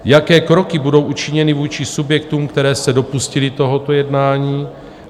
Jaké kroky budou učiněny vůči subjektům, které se dopustily tohoto jednání?